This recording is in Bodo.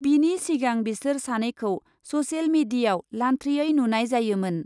बिनि सिगां बिसोर सानैखौ ससेल मेडियाव लान्थ्रियै नुनाय जायोमोन।